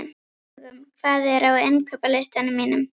Dögun, hvað er á innkaupalistanum mínum?